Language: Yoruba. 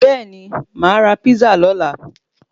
Bẹẹni ma ra písà lola